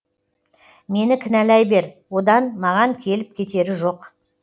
мені кінәлай бер одан маған келіп кетері жоқ